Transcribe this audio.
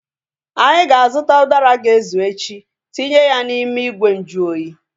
Anyị ga-azụta udara ga-ezu echi tinye ya n'ime ìgwè nju oyi